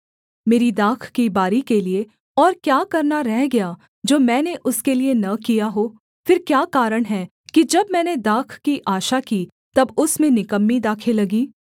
मेरी दाख की बारी के लिये और क्या करना रह गया जो मैंने उसके लिये न किया हो फिर क्या कारण है कि जब मैंने दाख की आशा की तब उसमें निकम्मी दाखें लगीं